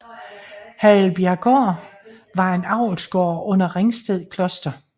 Hagelbjerggård var en avlsgård under Ringsted Kloster